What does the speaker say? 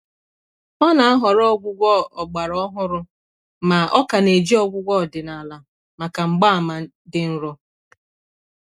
Ọ́ nà-àhọrọ ọgwụ́gwọ ọgbàrà ọhụ́rụ́ mà ọ kà nà-éjí ọgwụ́gwọ ọdị́nàlà màkà mgbààmà dị́ nró.